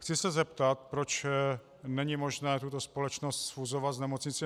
Chci se zeptat, proč není možné tuto společnost sfúzovat s Nemocnicí